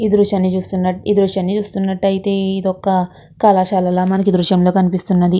ఈ దృశ్యాన్ని చూస్తున్నట్ ఈ దృశ్యాన్ని చూస్తున్నట్లయితే ఇదొక కళాశాల లా మనకు కనిపిస్తున్నది.